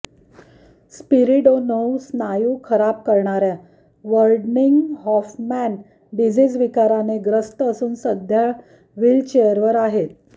Spiridonov स्नायू खराब करणाऱ्या वर्डनिंग हॉफमॅन डिजीज विकाराने ग्रस्त असून सध्या व्हिलचेअरवर आहेत